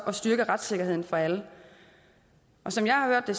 at styrke retssikkerheden for alle som jeg har hørt det